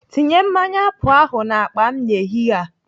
Tinye mmanya apụl ahụ n'akpa m n'ehihie a.